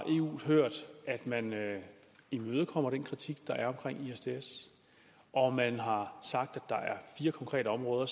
eu hørt man imødekommer den kritik der er omkring isds og man har sagt at der er fire konkrete områder